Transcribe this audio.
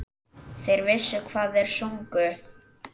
Þeir vissu hvað þeir sungu.